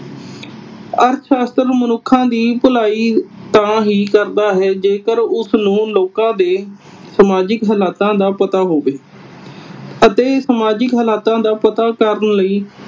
ਅਰਥ ਸ਼ਾਸਤਰ ਮਨੁੱਖਾਂ ਦੀ ਭਲਾਈ ਤਾਂ ਹੀ ਕਰਦਾ ਹੈ ਜੇਕਰ ਉਸਨੂੰ ਲੋਕਾਂ ਦੇ ਸਮਾਜਿਕ ਹਾਲਾਤਾਂ ਦਾ ਪਤਾ ਹੋਵੇ ਅਤੇ ਸਮਾਜਿਕ ਹਾਲਾਤਾਂ ਦਾ ਪਤਾ ਕਰਨ ਲਈ